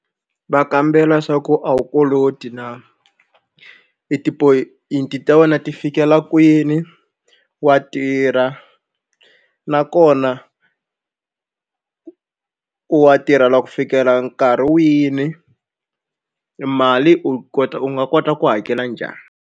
Va kambela swa ku a wu koloti na i ti-point ta wena ti fikela kwini wa tirha nakona wa tirhela ku fikela nkarhi wini mali u kota u nga kota ku hakela njhani.